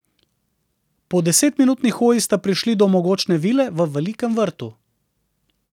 Po desetminutni hoji sta prišli do mogočne vile v velikem vrtu.